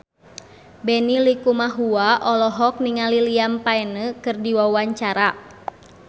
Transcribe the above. Benny Likumahua olohok ningali Liam Payne keur diwawancara